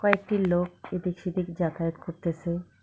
কয়েকটি লোক এদিক সেদিক যাতায়াত করতেসে।